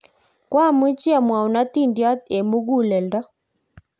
koamuchi amwou atindiot eng' muguleldo